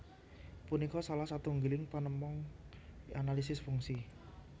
Punika salah satunggiling panemon analisis fungsi